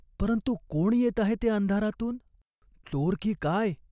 परंतु कोण येत आहे ते अंधारातून ? चोर की काय ?